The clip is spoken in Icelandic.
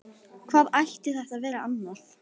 Hvað ætti þetta að vera annað?